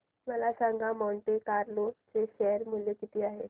मला सांगा Monte Carlo चे शेअर मूल्य किती आहे